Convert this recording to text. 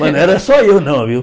Mas não era só eu não, viu?